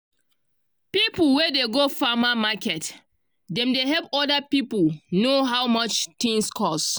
people wey dey go farmer market dem dey help oda piple know how much tins cost.